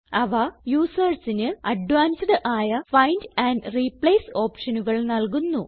അവ usersന് അഡ്വാൻസ്ഡ് ആയ ഫൈൻഡ് ആൻഡ് റിപ്ലേസ് ഓപ്ഷനുകൾ നല്കുന്നു